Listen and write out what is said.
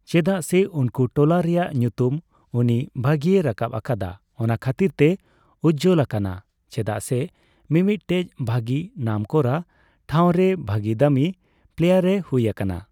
ᱪᱮᱫᱟᱜ ᱥᱮ ᱩᱱᱠᱩ ᱴᱚᱞᱟ ᱨᱮᱭᱟᱜ ᱧᱩᱛᱩᱢ ᱩᱱᱤ ᱵᱷᱟᱹᱜᱤᱭ ᱨᱟᱠᱟᱯ ᱟᱠᱟᱫᱟ᱾ ᱚᱱᱟ ᱠᱷᱟᱹᱛᱤᱨ ᱛᱮ ᱩᱡᱡᱚᱞ ᱟᱠᱟᱱᱟ᱾ ᱪᱮᱫᱟᱜ ᱥᱮ ᱢᱤᱢᱤᱫᱴᱮᱡ ᱵᱷᱟᱹᱜᱤ ᱱᱟᱢᱠᱚᱨᱟ ᱴᱷᱟᱣᱨᱮ ᱨᱮ ᱵᱷᱟᱹᱜᱤ ᱫᱟᱹᱢᱤ ᱯᱞᱮᱭᱟᱨᱮᱭ ᱦᱩᱭ ᱟᱠᱟᱱᱟ᱾